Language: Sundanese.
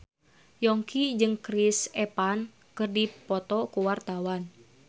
Yongki jeung Chris Evans keur dipoto ku wartawan